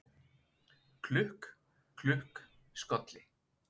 Klukk, klukk, skolli